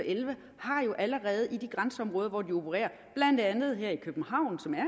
og elleve har jo allerede i de grænseområder hvor de opererer blandt andet her i københavn som er